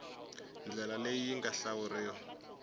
ndlela leyi yi nga hlawuriwa